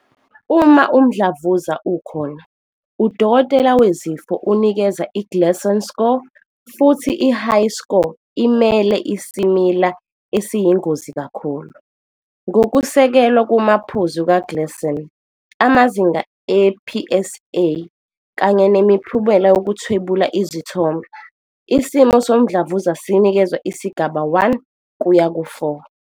Uma umdlavuza ukhona, udokotela wezifo unikeza i-Gleason score, futhi i-high score imele isimila esiyingozi kakhulu. Ngokusekelwe kumaphuzu kaGleason, amazinga e-PSA, kanye nemiphumela yokuthwebula izithombe, isimo somdlavuza sinikezwa isigaba 1 kuya ku-4.